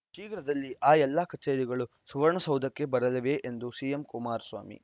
ಶೀಘ್ರದಲ್ಲಿ ಆ ಎಲ್ಲ ಕಚೇರಿಗಳು ಸುವರ್ಣ ಸೌಧಕ್ಕೆ ಬರಲಿವೆ ಎಂದರು ಸಿಎಂ ಕುಮಾರಸ್ವಾಮಿ